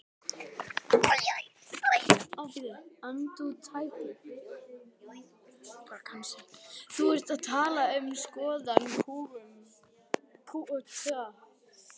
Þú ert að tala um skoðanakúgun sem er annað mál.